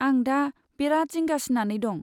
आं दा बेराद जिंगासिनानै दं।